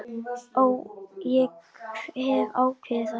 Ég hef ákveðið það.